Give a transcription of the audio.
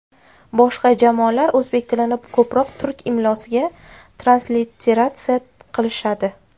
Boshqa jamoalar o‘zbek tilini ko‘proq turk imlosiga transliteratsiya qilishadi.